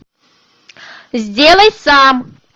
сделай сам